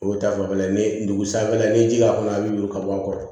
O ta fanfɛla ye ni dugu sanfɛla ni ji k'a kɔnɔ a bi yuruba bɔ a kɔrɔ